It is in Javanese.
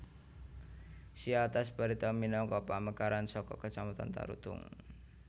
Siatas Barita minangka pamekaran saka kacamatan Tarutung